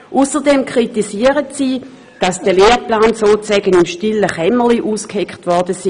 Ausserdem kritisieren sie, dass der Lehrplan sozusagen im stillen Kämmerlein ausgeheckt worden sei.